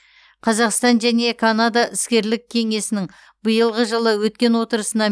қазақстан және канада іскерлік кеңесінің биылғы жылы өткен отырысына